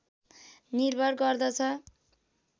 निर्भर गर्दछ